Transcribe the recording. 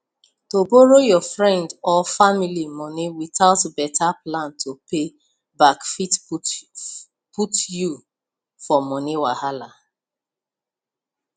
to borrow your friend or family money without better plan to pay back fit put you for money wahala